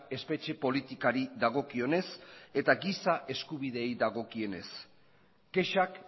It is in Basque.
espetxe politikari dagokionez eta gisa eskubideei dagokienez kexak